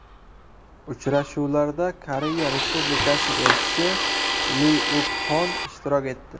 Uchrashuvlarda Koreya Respublikasi elchisi Li Uk Hon ishtirok etdi.